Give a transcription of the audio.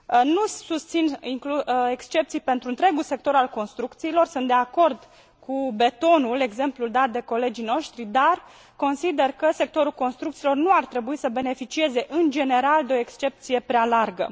Nu susțin excepții pentru întregul sector al construcțiilor, sunt de acord cu betonul exemplul dat de colegii noștri dar consider că sectorul construcțiilor nu ar trebui să beneficieze, în general, de o excepție prea largă.